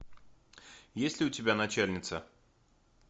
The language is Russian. есть ли у тебя начальница